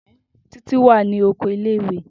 Titi wa ni oko ìle-ìwe.